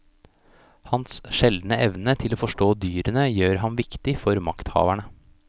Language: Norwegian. Hans sjeldne evne til å forstå dyrene gjør ham viktig for makthaverne.